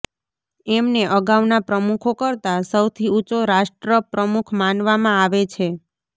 એમને અગાઉના પ્રમુખો કરતા સૌથી ઊંચો રાષ્ટ્રપ્રમુખ માનવામાં આવે છે